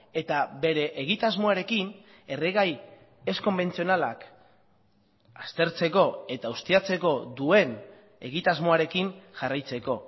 eta bere egitasmoarekin erregai ez konbentzionalak aztertzeko eta ustiatzeko duen egitasmoarekin jarraitzeko